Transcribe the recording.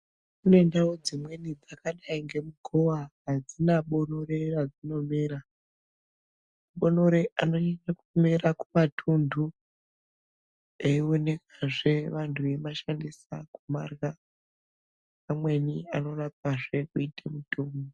Kune ndau dzimweni dzakadai ngeMugowa adzina bonore radzinomera ,mabonere anoita kumera kumatunhu eionekazve vantu veimashandisa kumarya amweni anorapazve kuita mitombo.